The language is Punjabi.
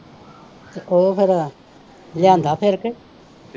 ਤੇ ਉਹ ਫਿਰ ਲਿਆਂਦਾ ਫਿਰ ਕੇ